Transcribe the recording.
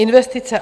Investice.